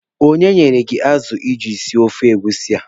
Onye nyere gị azụ iji sie ofe egusi ahụ?